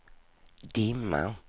dimma